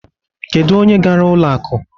Kedu onye gara ụlo akụ?